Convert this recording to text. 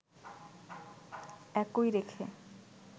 একই রেখে